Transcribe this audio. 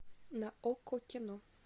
на окко кино